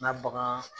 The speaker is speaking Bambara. N ka bagan